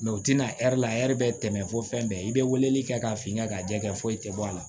Mɛ u tɛna ɛri la ɛri bɛ tɛmɛ fo fɛn bɛɛ i bɛ weleli kɛ k'a f'i ka jɛkɛ foyi tɛ bɔ a la